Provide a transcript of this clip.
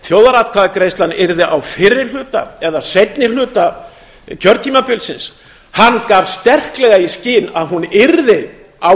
þjóðaratkvæðagreiðslan yrði á fyrri hluta eða seinni hluta kjörtímabilsins hann gaf sterklega í skyn að hún yrði á